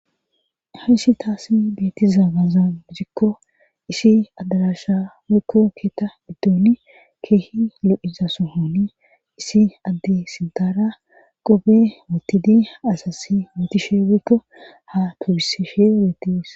heysi taasi beetizaa gaza bitikko isi adarasha wekko keeta biddooni keehi lo7iza sohoni isi adde sintara qobe wotidi asasi mootishe wekko ha tubise she reetis